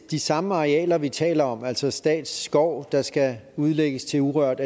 de samme arealer vi taler om altså statsskov der skal udlægges til urørt